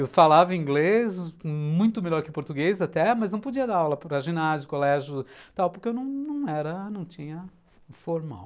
Eu falava inglês, muito melhor que português até, mas não podia dar aula para ginásio, colégio e tal, porque eu não era, não tinha formal.